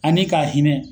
Ani ka hinɛ